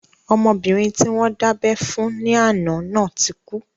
Ọmọbìnrin tí wọ́n dábẹ́ fún ní àná náà ti kú